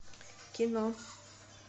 кино